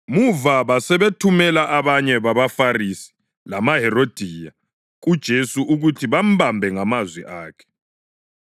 Muva basebethumela abanye babaFarisi lamaHerodiya kuJesu ukuthi bambambe ngamazwi akhe.